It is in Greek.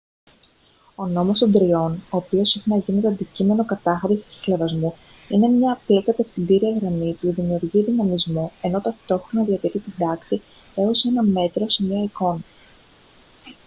ο νόμος των τριών ο οποίος συχνά γίνεται αντικείμενο κατάχρησης και χλευασμού είναι μια απλή κατευθυντήρια γραμμή που δημιουργεί δυναμισμό ενώ ταυτόχρονα διατηρεί την τάξη έως ένα μέτρο σε μια εικόνα